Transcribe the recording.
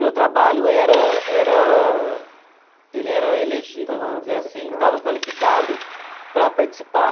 Meu trabalho era era... ele era elegível, vamos dizer assim, estava qualificado para participar.